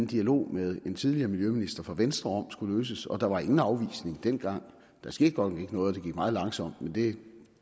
dialog med en tidligere miljøminister fra venstre om skulle løses og der var ingen afvisning dengang der skete godt nok ikke noget og det gik meget langsomt men det